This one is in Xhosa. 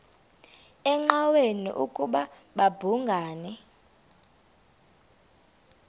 engqanweni ukuba babhungani